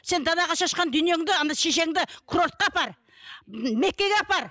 сен далаға шашқан дүниеңді шешеңді кровьке апар меккеге апар